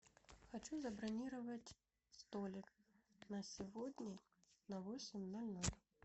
хочу забронировать столик на сегодня на восемь ноль ноль